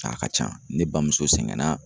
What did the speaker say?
A ka ca ne bamuso sɛgɛn na.